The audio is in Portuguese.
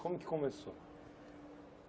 Como que começou?